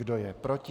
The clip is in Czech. Kdo je proti?